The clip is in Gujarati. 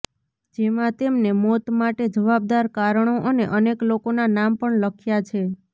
જેમાં તેમને મોત માટે જવાબદાર કારણો અને અનેક લોકોના નામ પણ લખ્યા છે